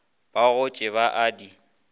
ba gotše ba a di